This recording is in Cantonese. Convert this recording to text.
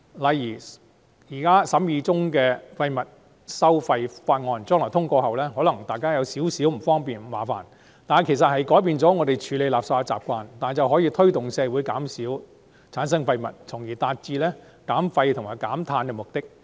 例如《2018年廢物處置條例草案》通過後，雖然可能對市民有點不便，卻有助改變我們處理垃圾的習慣、減少產生廢物，從而達致減廢及減碳。